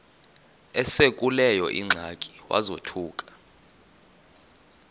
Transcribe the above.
esekuleyo ingxaki wazothuka